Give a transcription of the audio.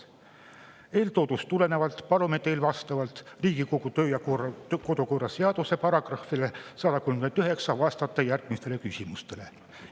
Eeltoodust tulenevalt palun teil vastavalt Riigikogu kodu‑ ja töökorra seaduse §‑le 139 vastata järgmistele küsimustele.